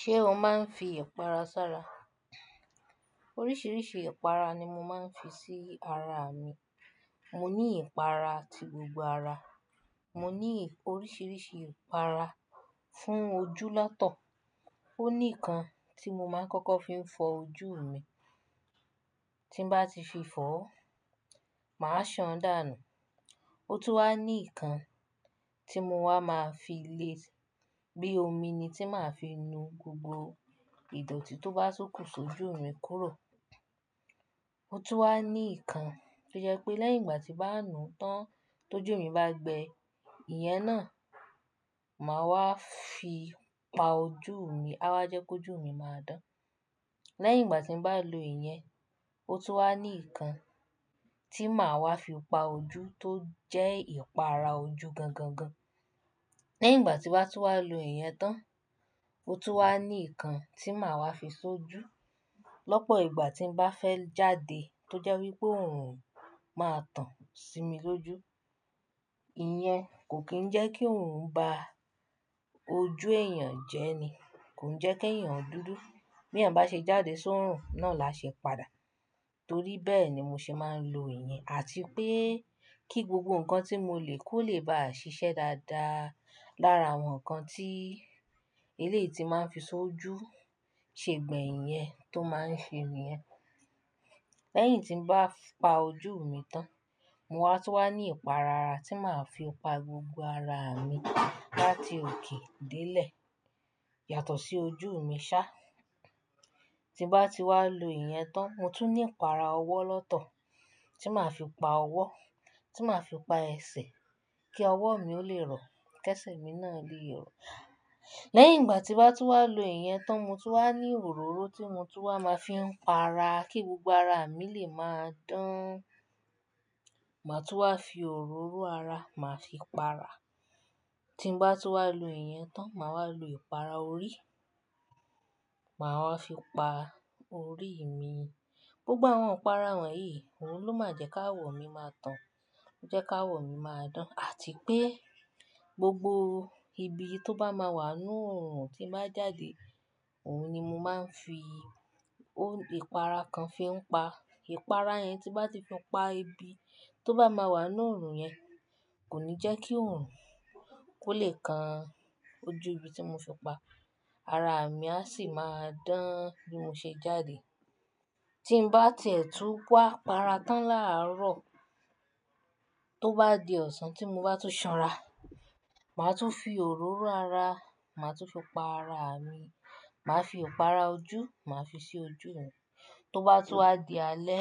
Ṣé o máa ń fi ìpara sára? Oríṣiríṣi ìpara ni mo máa ń fi sí ara mi. Mo ní ìpara ti gbogbo ara. Mo ní oríṣiríṣi ìpara fún ojú lọ́tọ̀. Ó ní ìkan tí mo máa ń kọ́kọ́ fi ń fọ ojú mi. Tí n bá ti fi fọ́, màá ṣàn dànù. Ó tún wá ní ìkan tí mo wá máa fi lé e bí i omi ni tí màá fi nu gbogbo ìdọ̀tí tó bá só kùn s'ójú mi kúrò. Ó tún wá ní ìkan tí ó jẹ́ pé lẹ́yìn ìgbà tí n bá nù tán tó ju mi bá gbẹ, ìyẹn náà màá wá fi pa ojú mi. A wá jẹ́ kó ojú mi máa dán. Lẹ́yìn ìgbà tí n bá lo ìyẹn, ó tún wá ní ìkan tí màá wá fi pa ojú tó jẹ́ ìpara ojú gan-gan-gan. Lẹ́yìn ìgbà tí n bá tún wá lo ìyẹn tán, ó tún wá ní ìkan tí màá wá fi ṣojú lọ́pọ̀ ìgbà tí n bá fẹ́ jáde tó jẹ́ wí pé òórùn máa tàn sí mi lójú. Ìyẹn kò kí ń jẹ́ kí òórùn bá ojú èèyàn jẹ́ ni. Kò ń jẹ́ kí ẹ̀yàn dúdú. Bí èèyàn bá ṣe jáde sórun náà lá ṣe padà. Torí bẹ́ẹ̀ ni mo ṣe máa ń lo ìyẹn àti pé kí gbogbo nǹkan tí mo lè kó lè baà ṣiṣẹ́ dáadáa. Lára àwọn nǹkan tí eléyìí tí n máa ń fi ṣojú ṣe gbẹ̀yìn nìyẹn tó máa ń ṣe nì yẹn. Lẹ́yìn tí n bá pa ojú mi tán, mo wá tún wá ní ìpara ara tí màá fi pa gbogbo ara mi láti òkè dé ilẹ̀ yàtọ̀ sí ojú mi ṣá. Tí nbá ti wá lo ìyẹn tán, mo tún ní ìpara ọwọ́ lọ́tọ̀ tí màá fi pa ọwọ́, tí màá fi pa ẹsẹ̀ kí ọwọ́ mi ó lè rọ̀, kí ẹsẹ̀ mi náà lèé rọ̀. Lẹ́yìn ìgbà tí nbá tún wá lo ìyẹn tán, mo tún wá ní òróró tí mo tún wá máa fi ń pa ara kí gbogbo ara mi lè máa dán. Màá tún wá fi òróró ara màá fi pa ara. Tí n bá tún wá lo ìyẹn tán, màá wá lo ìpara orí. Màá wá fi pa orí mi. Gbogbo àwọn ìpara wọ̀nyí òun ló máa jẹ́ k'áwọ̀ mi máa tàn. Ó jẹ́ káwọ̀ mi máa dán àti pé gbogbo ibi tó bá máa wà ń nú òórùn tí n bá jáde, òun ni mo máa ń fi, òun ìpara kan fi ń pa. Ìpara yẹn tí nbá ti fi pa ibi tó bá máa wà nínú òórùn yẹn kò ní jẹ́ kí òórùn kó lè kan ojú ibi tí mo fi pa. Ara mi a sì máa dán bí mo ṣe ń jáde. Tí n bá tiẹ̀ tú wá para tán láàárọ̀, tó bá di ọ̀sán tí mo bá tún ṣanra, màá tún fi òróró ara, màá tún fi pa ara mi. Màá fi ìpara ojú, màá fi sí ojú mi. Tó bá tún wá di alẹ́,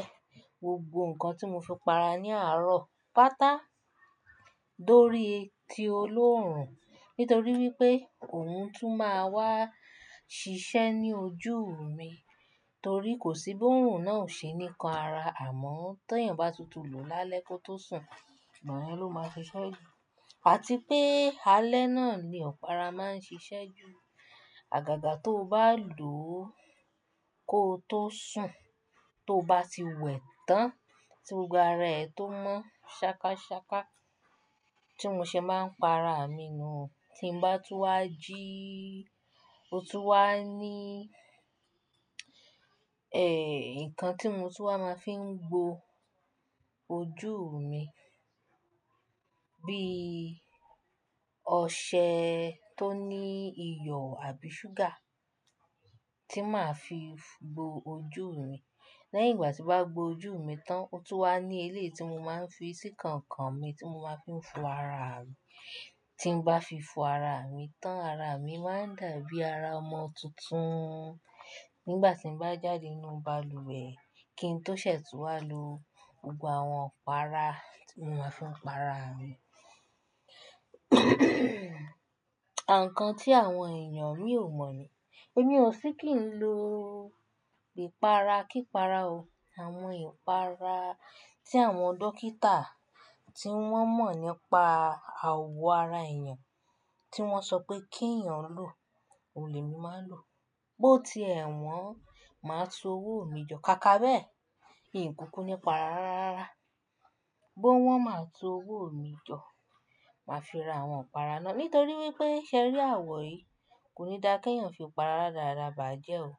gbogbo nǹkan tí mo fi para ní àárọ̀ pátà dórí ti olóòórùn. Nítorí wípé òun tún máa wá ṣiṣẹ́ ní ojú mi. Torí kò sí bí òórùn náà ò ṣe ni kan ara, àmọ́ tó èèyàn bá tutù lòó lálẹ́ kó tó sùn, ìgbà yẹn ló máa ṣiṣẹ́ jù. Àti pé alẹ́ náà ni ọ̀para máa ń ṣiṣẹ́ jù. Àgàgà tóo bá lòó kóo tó sùn, tó bá ti wẹ̀ tán, tí gbogbo ara ẹ tó mọ́ ṣákáṣáká tí mi ṣe máa ń pa ara mi nù o. Tí n bá tún wá jí, ó tún wá ní, eh, nǹkan tí mo tún wá máa fi ń gbo ojú mi bí i ọṣẹ tó ní iyọ̀ àbí ṣúgà tí màá fi gbo ojú mi. Lẹ́yìn ìgbà tí bá gbo ojú mi tán, ó tún wá ní eléyìí tí mo máa ń fi sí kànkàn mi tí mo máa ń fi fọ ara mi. Tí n bá fi fọ ara mi tán, ara mi máa dàbí ara ọmọ tuntun nígbà tí n bá jáde nínú balùwẹ̀ kí n tó ṣẹ̀ẹ̀ tú wá lo gbogbo àwọn ìpara tí mo máa ń fi ń para ara mi. Àwọn nǹkan tí àwọn èèyàn mí ò mọ̀ ni. Èmi ò sí kí n lo ìpara kípara o. Àwọn ìpara tí àwọn dókítà tí wọ́n mọ̀ nípa àwọ̀ ara èèyàn tí wọ́n sọ pé kí èyàn ó lò, òun lèmí máa ń lò. Bó ti ẹ̀ wọ́n, màá tú owó mi jọ, ká kábẹ̀. Iǹkùkù ní pa ara rárá. Bó wọ́n máa tú owó mi jọ, màá fi ra àwọn ìpara náà. Nítorí wípé ṣé ẹ rí àwọ̀ yìí kò ní dá kí ẹ̀yàn fi ìpara rádaràda bàjẹ́ o. Kò.